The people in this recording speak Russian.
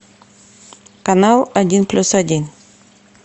канал один плюс один